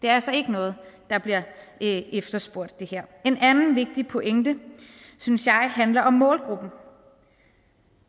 er altså ikke noget der bliver efterspurgt en anden vigtig pointe synes jeg handler om målgruppen